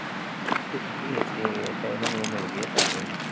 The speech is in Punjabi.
ਇਹ ਅੱਛਾ ਇਹਨਾ ਨੂੰ ਉਹ ਮਿਲ ਗਏ ਆ ਪੈਸੇ ਹੁਣ